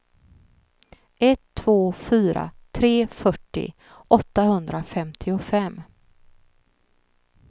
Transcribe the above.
ett två fyra tre fyrtio åttahundrafemtiofem